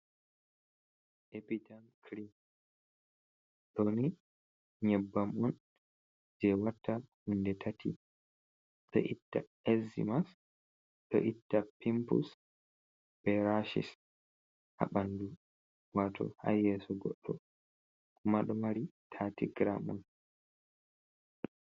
Epidem krim. Ɗo ni nyebbam on jei watta hunde tati. Ɗo itta ezzimas, ɗo itta pimpus be rashis ha ɓandu, wato ha yeso goɗɗo. Kuma ɗo mari 30 gram on.